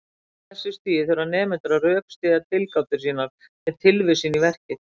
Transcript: Á þessu stigi þurfa nemendur að rökstyðja tilgátur sínar með tilvísun í verkið.